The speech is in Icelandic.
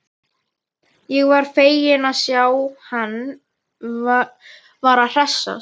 Ég var feginn að sjá að hann var að hressast!